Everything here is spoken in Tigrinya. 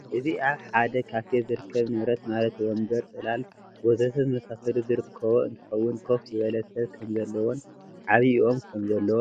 እዚ አብ ሐደ ካፌ ዝርከብ ንብረት ማለት ወንበር፣ ፅላል፣ ወዘተ ዝመሳሰሉ ዝርከቦ እንትኸውን ኮፍ ዝበለ ሰብ ከም ዘለዎን ዓብዩ ኦም ከምዘሎን ይሕብር።